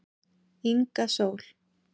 Inga Sól